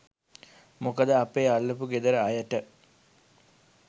මොකද අපේ අල්ලපු ගෙදර අයට